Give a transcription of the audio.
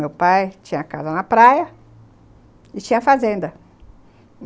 Meu pai tinha casa na praia e tinha fazenda.